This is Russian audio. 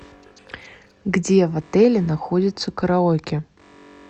где в отеле находится караоке